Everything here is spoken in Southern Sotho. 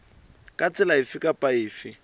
ka tsela efe kapa efe